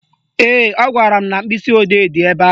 Ee, ọ gwara m na mkpịsịodee dị ebe ahụ